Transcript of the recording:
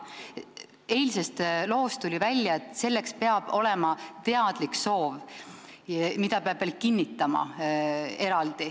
Eilsest loost tuli välja, et selleks peab olema teadlik soov, mida peab veel eraldi kinnitama.